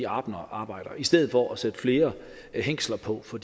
arbejder i stedet for at sætte flere hængsler på for